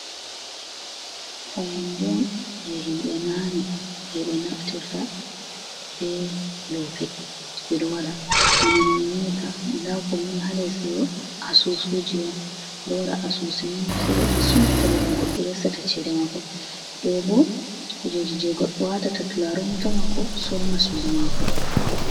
Fayande on je himɓe nane je ɓe naftirta be loope, ɓeɗo wada bana no enyi'a ta dakoni halesdo asusu ji on ɓeɗo wada asusu mai se ɓe dan sumpita babal ha les je goɗɗo watata cede mako, ɗoɓo kujeji je goɗɗo watata turaren wuta mako surna sudu mako.